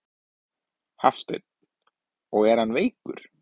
Hafsteinn: Og er hann veikur?